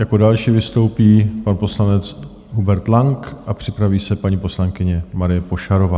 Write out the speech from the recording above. Jako další vystoupí pan poslanec Hubert Lang a připraví se paní poslankyně Marie Pošarová.